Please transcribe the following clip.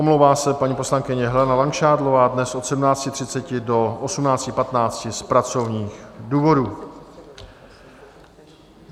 Omlouvá se paní poslankyně Helena Langšádlová dnes od 17.30 do 18.15 z pracovních důvodů.